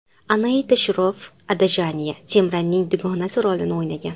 Anaita Shroff Adajaniya Simranning dugonasi rolini o‘ynagan.